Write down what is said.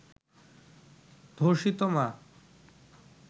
ধর্ষিত মা